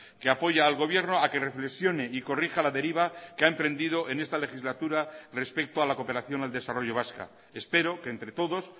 que apoya al gobierno a que reflexione y corrija la deriva que ha emprendido en esta legislatura respecto a la cooperación al desarrollo vasca espero que entre todos